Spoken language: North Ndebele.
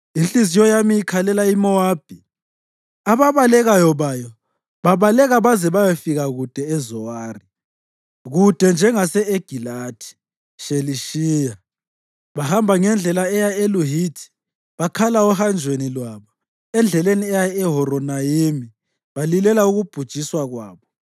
Inhliziyo yami ikhalela iMowabi, ababalekayo bayo babaleka baze bayefika kude eZowari; kude njengase-Egilathi Shelishiya. Bahamba ngendlela eya eLuhithi, bakhala ohanjweni lwabo; endleleni eya eHoronayimi balilela ukubhujiswa kwabo.